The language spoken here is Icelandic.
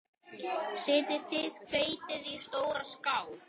Setjið hveitið í stóra skál.